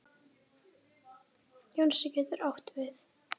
Jónsi getur átt við